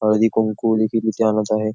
हळदीकुंकू आणत आहे.